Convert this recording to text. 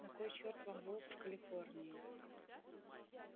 на кой черт вам волк в калифорнии